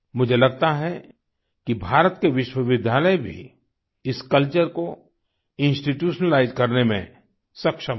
मुझे लगता है कि भारत के विश्वविद्यालय भी इस कल्चर को इंस्टीट्यूशनलाइज करने में सक्षम है